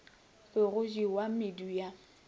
be go jewa medu ya